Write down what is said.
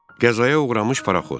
Qəzaya uğramış paraxod.